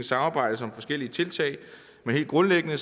samarbejdes om forskellige tiltag men helt grundlæggende